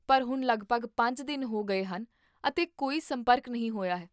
ਪਰ ਹੁਣ ਲਗਭਗ ਪੰਜ ਦਿਨ ਹੋ ਗਏ ਹਨ ਅਤੇ ਕੋਈ ਸੰਪਰਕ ਨਹੀਂ ਹੋਇਆ ਹੈ